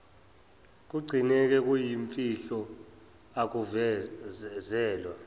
kugcineka kuyimfihlo akuvezelwa